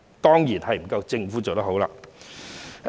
當然不夠政府做得好。